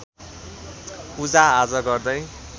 पूजाआजा गर्दै